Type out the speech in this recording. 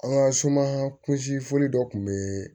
An ka suma kunsi foli dɔ tun bɛ